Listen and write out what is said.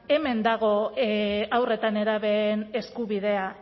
hemen dago haur eta nerabeen eskubidea